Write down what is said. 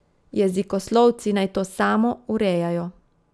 Jezikoslovci naj to samo urejajo.